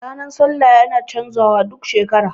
Ranar sallah yana canza wa duk shekara